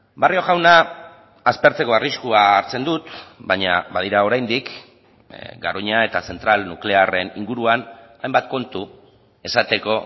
barrio jauna aspertzeko arriskua hartzen dut baina badira oraindik garoña eta zentral nuklearren inguruan hainbat kontu esateko